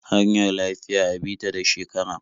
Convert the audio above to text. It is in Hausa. Hanyar lafiya a bi ta da shekara.